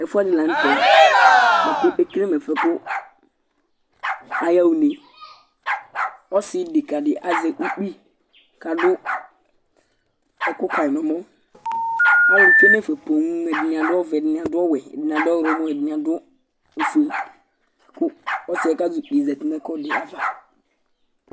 Ɛƒʋɛdini la ntɛ bʋakʋ ekele mʋ ɛfʋɛ kʋ alu yaha ʋne Ɔsi deka di azɛ ʋkpi kʋ adu ɛku ka nʋ ɛmɔ Alu tsue nu ɛfɛ poo Ɛdiní adu ɔvɛ, ɛdiní adʋ ɔwɛ, ɛdiní adʋ ɔwlɔmɔ, ɛdiní adʋ ɔfʋe kʋ ɔsi yɛ kʋ azɛ ʋkpi ye zɛti nʋ ɛkʋɛdi ava